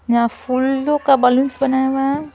यहां फूलों का बालूंस बनाया हुआ है।